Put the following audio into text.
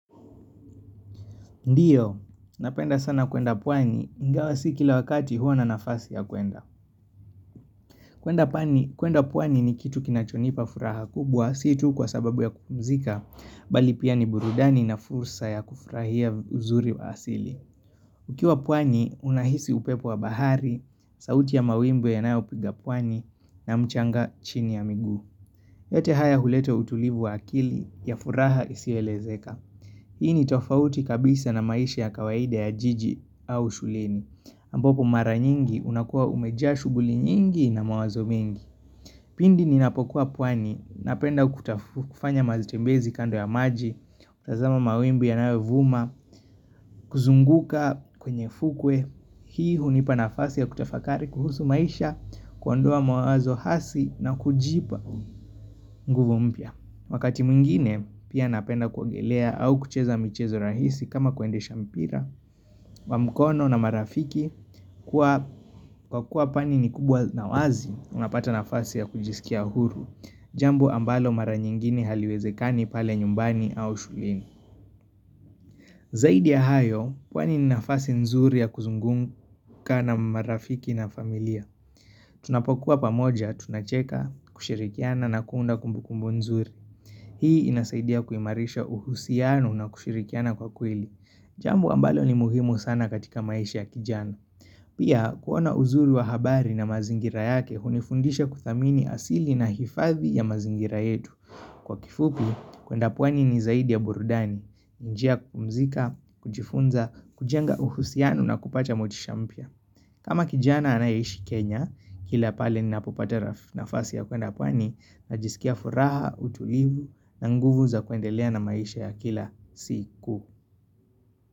Ndio, napenda sana kwenda pwani, ingawa si kila wakati huwa na nafasi ya kwenda. Kwenda pwani ni kitu kinachonipa furaha kubwa, si tu kwa sababu ya kupumzika, mbali pia ni burudani na fursa ya kufurahia uzuri wa asili. Ukiwa pwani, unahisi upepo wa bahari, sauti ya mawimbi yanayopiga pwani na mchanga chini ya miguu. Yote haya hulete utulivu wa akili, ya furaha isiyoelezeka. Hii ni tofauti kabisa na maisha ya kawaida ya jiji au shuleni ambapo mara nyingi, unakuwa umejaa shughuli nyingi, na mawazo mengi Pindi ninapokuwa pwani napenda kutafanya matembezi kando ya maji kutazama mawimbi yanayo vuma, kuzunguka kwenye fukwe Hii hunipa nafasi ya kutafakari kuhusu maisha, kuondoa mawazo hasi, na kujipa nguvu mpya. Wakati mwingine pia napenda kuogelea au kucheza michezo rahisi kama kuendesha mpira Wamkono na marafiki, kwa kuwa pwani ni kubwa na wazi, unapata nafasi ya kujisikia huru Jambo ambalo mara nyingine haliwezekani pale nyumbani au shuleni Zaidi ya hayo, pwani ni nafasi nzuri ya kuzunguka na marafiki na familia Tunapokuwa pamoja tunacheka, kushirikiana na kuunda kumbukumbu nzuri Hii inasaidia kuimarisha uhusiano na kushirikiana kwa kweli Jambo ambalo ni muhimu sana katika maisha ya kijana Pia, kuona uzuri wa habari na mazingira yake, hunifundisha kudhamini asili na hifadhi ya mazingira yetu. Kwa kifupi, kwenda pwani ni zaidi ya burudani njia ya kupumzika, kujifunza, kujenga uhusiano na kupacha motisha mpya kama kijana anayeishi Kenya, kila pale ni napopata nafasi ya kwenda pwani, najisikia furaha, utulivu na nguvu za kuendelea na maisha ya kila siku.